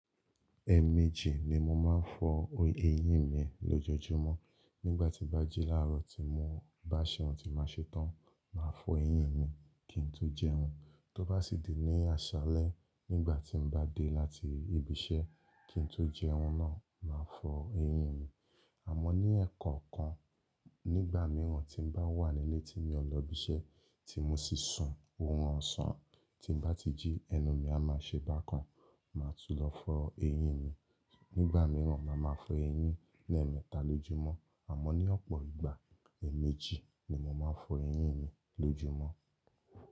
Ẹ̀ẹ̀mejì ni mo máa ń fọ eyín mi lójoojúmọ́. Nígbà tí n bá jí láàárọ̀ tí mo bá ṣẹ̀wun tí má ṣe tán, màá fọ eyín mi kí n tó jẹun, tó bá sì di ní àṣálẹ́ nígbà tí n bá dé láti ibi iṣẹ́ kí n tó jẹun náà, màá fọ eyín mi. Àmọ́ ní ẹ̀kọkan, nígbà mìíràn tí n bá wà nílé tí n ò lọ ibi iṣẹ́ tí mo sì sun oorun ọ̀sán, tí n bá ti jí ẹnu mi a máa ṣe bá kan, màá tún lọ fọ eyín mi. Nígbà mìíràn, màá máa fọ eyín ní ẹ̀ẹ̀mẹta lójúmọ́. Àmọ́ ní ọ̀pọ̀ ìgbà, ẹ̀ẹ̀mejì ni mo máa ń fọ eyín mi lójúmọ́.